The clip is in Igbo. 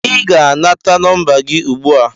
Ị ga-aga nata nọmba gị ugbu a!